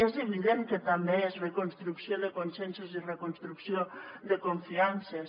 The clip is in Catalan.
és evident que també és reconstrucció de consensos i reconstrucció de confiances